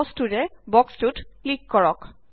মাউছটোৰে box টোত click কৰক